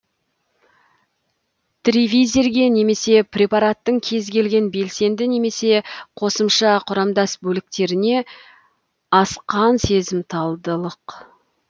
тризивирге немесе препараттың кез келген белсенді немесе қосымша құрамдас бөліктеріне асқын сезімталдық